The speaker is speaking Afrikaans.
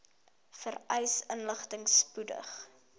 vereiste inligting spoedig